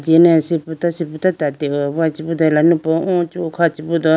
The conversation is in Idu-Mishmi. ane sibruto sibruto tate hoyi chibudo alanupu o ichubu kha chibudo.